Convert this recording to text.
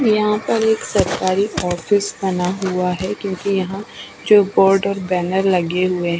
यहाँ पर एक सरकारी ऑफिस बना हुआ है क्युकी यहाँ जो बोर्ड और बैनर लगे हुए है।